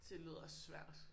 Det lyder også svært